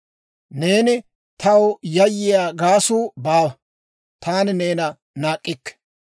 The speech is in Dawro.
Neeni taw yayyiyaa gaasuu baawa; taani neena naak'k'ikke.